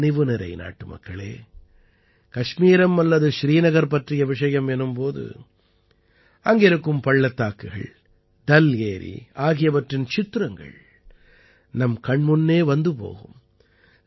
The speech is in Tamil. என் கனிவு நிறை நாட்டுமக்களே கஷ்மீரம் அல்லது ஸ்ரீநகர் பற்றிய விஷயம் எனும் போது அங்கிருக்கும் பள்ளத்தாக்குகள் டல் ஏரி ஆகியவற்றின் சித்திரங்கள் நம் கண் முன்னே வந்து போகும்